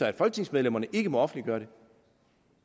at folketingsmedlemmerne ikke må offentliggøre det